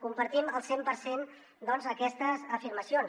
compartim al cent per cent doncs aquestes afirmacions